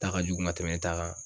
Ta ka jugu ka tɛmɛ n ta kan.